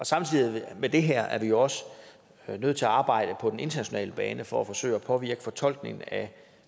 samtidig med det her er vi jo også nødt til at arbejde på den internationale bane for at forsøge at påvirke fortolkningen af